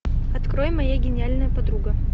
открой моя гениальная подруга